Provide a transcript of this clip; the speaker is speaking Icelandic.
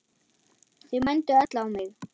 Þau mændu öll á mig.